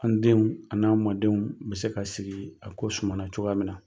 An denw ani n'a mɔdenw bɛ se ka sigi a ko sumana cogoya min na.